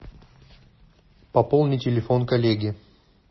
пополни телефон коллеги